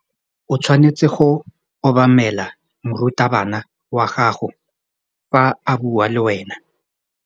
O tshwanetse go obamela morutabana wa gago fa a bua le wena.